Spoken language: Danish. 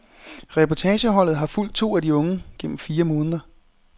Reportageholdet har fulgt to af de unge gennem fire måneder.